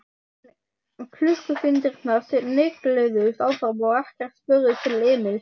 En klukkustundirnar snigluðust áfram og ekkert spurðist til Emils.